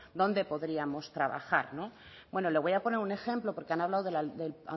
dónde podríamos trabajar no bueno le voy a poner un ejemplo porque han hablado del